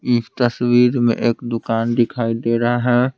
इस तस्वीर में एक दुकान दिखाई दे रहा है।